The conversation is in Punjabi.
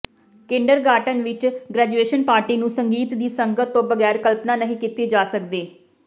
ਕਿੰਡਰਗਾਰਟਨ ਵਿਚ ਗ੍ਰੈਜੂਏਸ਼ਨ ਪਾਰਟੀ ਨੂੰ ਸੰਗੀਤ ਦੀ ਸੰਗਤ ਤੋਂ ਬਗੈਰ ਕਲਪਨਾ ਨਹੀਂ ਕੀਤੀ ਜਾ ਸਕਦੀ